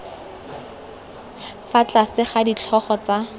fa tlase ga ditlhogo tsa